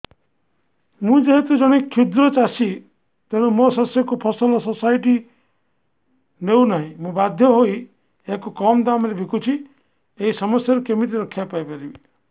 ମୁଁ ଯେହେତୁ ଜଣେ କ୍ଷୁଦ୍ର ଚାଷୀ ତେଣୁ ମୋ ଶସ୍ୟକୁ ଫସଲ ସୋସାଇଟି ନେଉ ନାହିଁ ମୁ ବାଧ୍ୟ ହୋଇ ଏହାକୁ କମ୍ ଦାମ୍ ରେ ବିକୁଛି ଏହି ସମସ୍ୟାରୁ କେମିତି ରକ୍ଷାପାଇ ପାରିବି